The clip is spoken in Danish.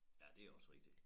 Ja det også rigtigt